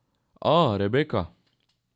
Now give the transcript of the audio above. A, Rebeka?